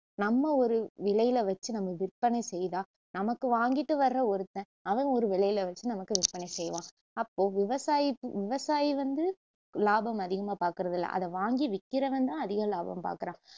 நம்ம ஒரு விலையில வச்சு நம்ம விற்பனை செய்தா நமக்கு வாங்கிட்டு வர்ற ஒருத்தன் அவன் ஒரு விலையில வச்சு நமக்கு விற்பனை செய்வான் அப்போ விவசாயிப்~ விவசாயி வந்து லாபம் அதிகமா பாக்குறது இல்ல அதை வாங்கி விக்கிறவன் தான் அதிகம் லாபம் பாக்குறான்